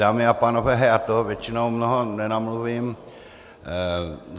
Dámy a pánové, já toho většinou mnoho nenamluvím.